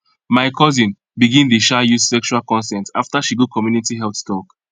my cousin begin dey um use sexual consent after she go community health talk